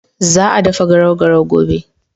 Za a dafa garau garau gobe.